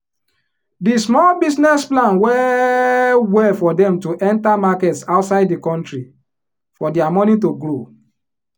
di small business plan well well for dem to enter markets outside the country for dia money to grow